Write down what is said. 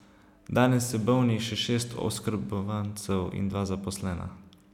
Danes je bolnih še šest oskrbovancev in dva zaposlena.